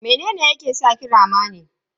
Mene ne yake saki rama ne?